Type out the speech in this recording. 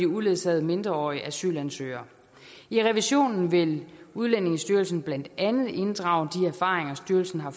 uledsagede mindreårige asylansøgere i revisionen vil udlændingestyrelsen blandt andet inddrage de erfaringer styrelsen har